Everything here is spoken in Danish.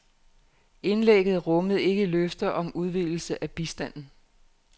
Indlægget rummede ikke løfter om udvidelse af bistanden.